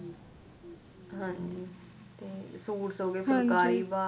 ਹਾਂ ਜੀ suits ਹੋਗੇ ਫੁਲਕਾਰੀ